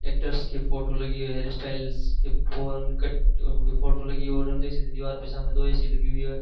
Actors के photo लगी है हेयर स्टाइल्स के फॉरेन कट के फोटो लगी और हम देख सकते दीवार के सामने दो ए_सी लगी हुई है।